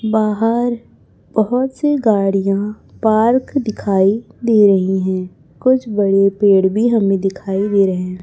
बाहर बहोत सी गाड़ियां पार्क दिखाई दे रही है कुछ बड़े पेड़ भी हमें दिखाई दे रहे--